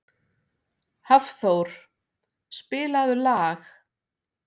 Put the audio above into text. Hafþór, spilaðu lag.